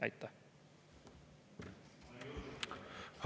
Aitäh!